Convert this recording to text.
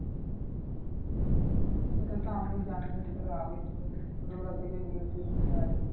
সেটাতো আমিও জানি যে তোর আগেই ছোট থেকে ছোটবেলা থেকেই বিয়ে ঠিক হয়ে আছে।